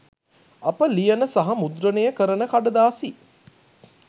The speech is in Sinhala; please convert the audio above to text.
අප ලියන සහ මුද්‍රණය කරන කඩදාසි